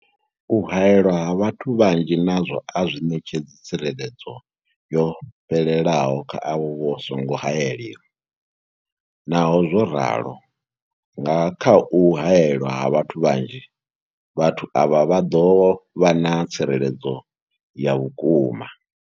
U haelwa ha vhathu vhanzhi nazwo a zwi ṋetshedzi tsireledzo yo fhelelaho kha avho vha songo haelwaho, Naho zwo ralo, nga kha u haelwa ha vhathu vhanzhi, vhathu avha vha ḓo vha na tsireledzo ya vhukuma.